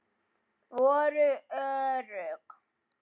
Voru örugg.